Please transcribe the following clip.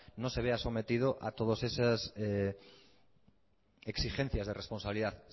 no se vea sometido a todas esas exigencias de responsabilidad